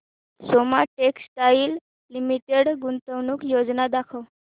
Soma textile limited गुंतवणूक योजना दाखव